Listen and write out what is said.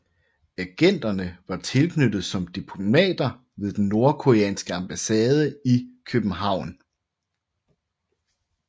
Agenterne var tilknyttet som diplomater på den nordkoreanske ambassade i København